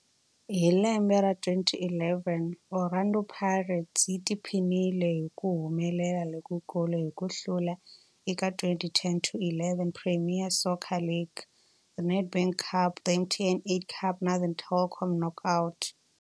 Hi lembe ra 2011, Orlando Pirates yi tiphinile hi ku humelela lokukulu hi ku hlula eka 2010-11 Premier Soccer League, The Nedbank Cup, The MTN 8 Cup na The Telkom Knockout.